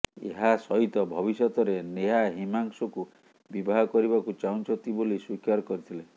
ଏହା ସହିତ ଭବିଷ୍ୟତରେ ନେହା ହିମାଂଶଙ୍କୁ ବିବାହ କରିବାକୁ ଚାହୁଁଛନ୍ତି ବୋଲି ସ୍ୱୀକାର କରିଥିଲେ